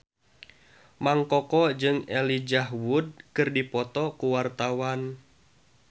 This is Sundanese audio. Mang Koko jeung Elijah Wood keur dipoto ku wartawan